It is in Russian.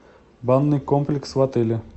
банный комплекс в отеле